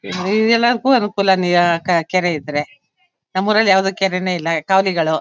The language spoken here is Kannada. ಇಲ್ಲಿ ಎಲ್ಲಕು ಅನುಕೂಲನೆ ಕ ಕೆರೆ ಇದ್ರೆ ನಮ್ಮೂರಲ್ಲಿ ಯಾವುದೇ ಕೆರೇನೇ ಇಲ್ಲ ಕಾಲಿಗಳು.